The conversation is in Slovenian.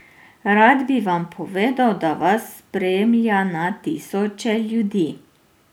Rad bi vam povedal, da vas spremlja na tisoče ljudi.